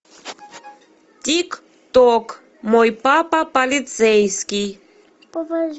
тик ток мой папа полицейский